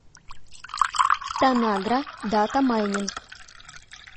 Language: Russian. танагра дата майнинг